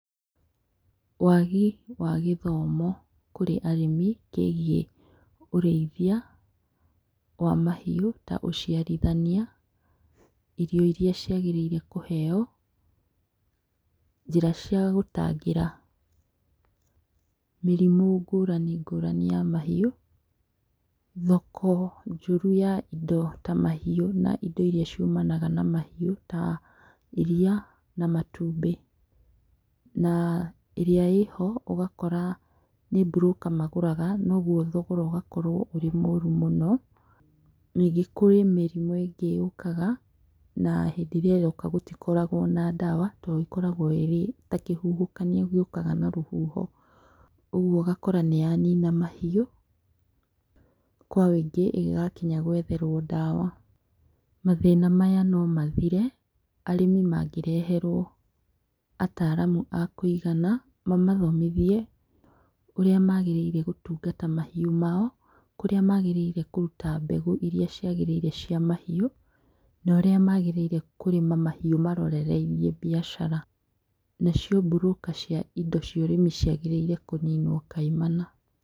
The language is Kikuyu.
Wagi wa gĩthomo, kũrĩ arĩmi kĩgĩĩ ũrĩithia wa mahiũ ta ũciarithania, irio iria cĩagĩrĩiruo kũheyo, njĩra cia gũtangĩra, mĩrimũ ngũrani, ngũrani, ya mahiũ, thoko njoru ya indo ta mahiũ, na indo iria ciũmanaga na mahiũ ta iria, na matumbĩ, na ĩrĩa ĩho ũgakora nĩ burũka magũraga, noguo thogora ũgakorwo ũrĩ mũru mũno, ningĩ kwĩ mĩrimũ ĩngĩ yũkaga, na hĩndĩ ria yoka gũtikoragwo na ndawa to ĩkoragwo ĩri ta kĩhuhokanio gĩũkaga na rũhuho, ũguo ũgakora nĩ yanina mahiũ, kwa wĩingĩ ĩngĩgakinya gwetherwo ndawa, mathĩna maya no mathire arĩmi mangĩreherwo ataramu akũigana mamathomithie ũrĩa magĩrĩire gũtungata mahiũ mao, kũria magĩrĩire kũruta mbegũ iria ciagĩrĩire cia mahiũ, na ũrĩa magĩrĩire kũrĩma mahiũ marorereirie mbiacara, na cio burũka cia indo cia ũrĩmi ciagĩrĩirwo kũninwo kaimana.